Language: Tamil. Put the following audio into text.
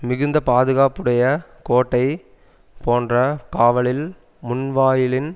மிகுந்த பாதுகாப்புடைய கோட்டை போன்ற காவலில் முன்வாயிலின்